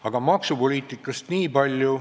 Aga maksupoliitikast ...